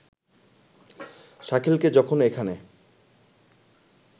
শাকিলকে যখন এখানে